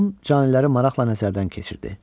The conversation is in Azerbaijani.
Tom caniləri maraqla nəzərdən keçirdi.